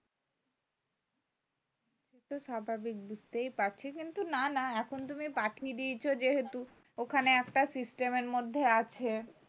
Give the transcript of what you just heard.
সে তো স্বাভাবিক বুঝতেই পারছি কিন্তু না না এখন তুমি পাঠিয়ে দিয়েছ যেহেতু ওখানে একটা system এর মধ্যে আছে